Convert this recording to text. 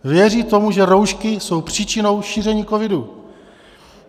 Věří tomu, že roušky jsou příčinou šíření covidu.